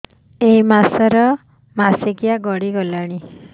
ଏଇ ମାସ ର ମାସିକିଆ ଗଡି ଗଲାଣି